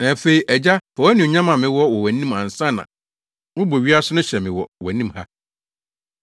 Na afei, Agya, fa anuonyam a mewɔ wɔ wʼanim ansa na wobɔ wiase no hyɛ me wɔ wʼanim ha.